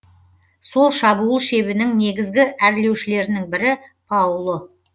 сол шабуыл шебінің негізгі әрлеушілерінің бірі пауло